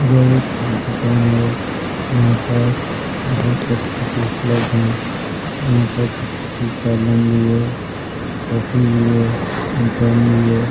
यह एक दुकान है यहाँ पर बहुत सारी चीज उपलब्ध है यहाँ पर किसकी कलम भी है कॉपी भी है गम भी है।